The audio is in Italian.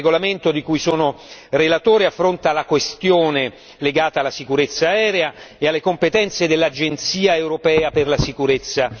Il regolamento di cui sono relatore affronta la questione legata alla sicurezza aerea e alle competenze dell'Agenzia europea per la sicurezza.